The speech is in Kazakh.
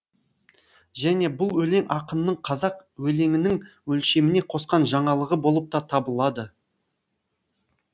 және бұл өлең ақынның қазақ өлеңінің өлшеміне қосқан жаңалығы болып та табылады